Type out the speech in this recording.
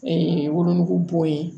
wolonugu bɔ ye